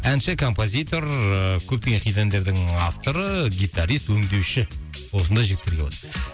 әнші композитор ыыы көптеген хит әндердің авторы гитарист өңдеуші осындай жігіттер келіп отыр